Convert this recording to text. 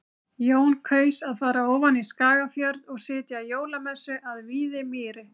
Jón kaus að fara ofan í Skagafjörð og sitja jólamessu að Víðimýri.